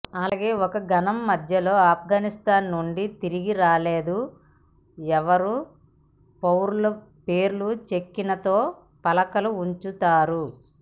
అలాగే ఒక ఘనం మధ్యలో ఆఫ్గనిస్తాన్ నుండి తిరిగి రాలేదు ఎవరు పౌరుల పేర్లు చెక్కిన తో ఫలకాలు ఉంచుతారు